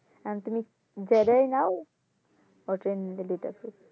এহন তুমি জেডাই নাও ওইটা নিলে দুইটা ফ্রি